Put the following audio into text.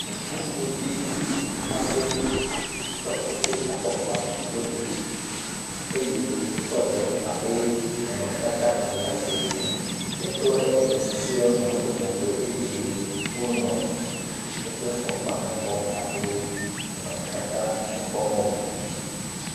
Ŋutsuvi aɖe tsɔ eƒe afɔkpa do ɖe dzi eye wotɔ ɖe abe nɔnɔme tata wo be ya ɖe ene. Etɔ ene susɔewo nɔ eƒe megbe eye wo nɔ eƒe afɔkpa me kpɔm eye nɔnɔ me tata me kpɔm wole ene.